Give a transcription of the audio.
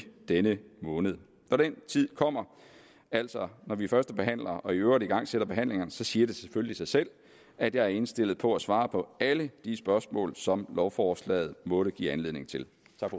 denne måned når den tid kommer altså når vi førstebehandler og i øvrigt igangsætter behandlingerne siger det selvfølgelig sig selv at jeg er indstillet på at svare på alle de spørgsmål som lovforslaget måtte give anledning til